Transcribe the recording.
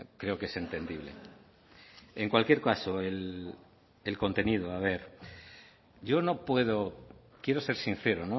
creo que es entendible en cualquier caso el contenido a ver yo no puedo quiero ser sincero